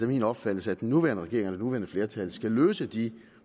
min opfattelse at den nuværende regering og det nuværende flertal skal løse de